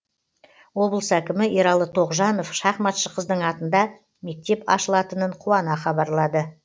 облыс әкімі ералы тоғжанов шахматшы қыздың атында мектеп ашылатынын қуана хабарлады